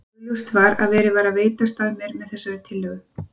Augljóst var að verið var að veitast að mér með þessari tillögu.